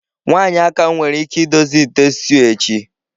Nwanyị Aka nwere ike idozi ite stew echi.